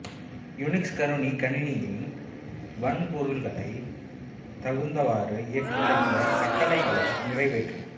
Unix கருனி கணினியின் வன்பொருகளை தகுந்தவாறு இயக்கி அந்த கட்டளைகளை நிறைவேற்றும்